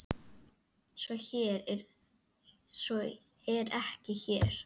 Svo er ekki hér.